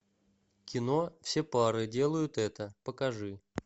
кино все пары делают это покажи